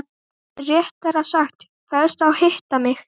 Réttara sagt: fellst á að hitta mig.